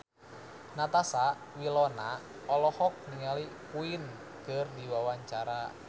Natasha Wilona olohok ningali Queen keur diwawancara